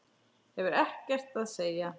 Hefur ekkert að segja.